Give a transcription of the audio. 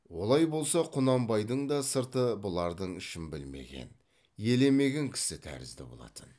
олай болса құнанбайдың да сырты бұлардың ішін білмеген елемеген кісі тәрізді болатын